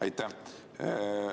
Aitäh!